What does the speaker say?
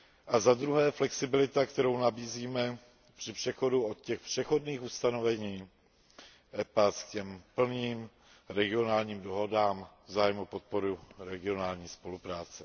A za druhé existuje flexibilita, kterou nabízíme při přechodu od těch přechodných ustanovení dohod EPA k těm plným regionálním dohodám v zájmu podpory regionální spolupráce.